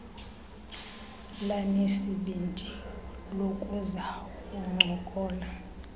lanesibindi lokuza kuncokola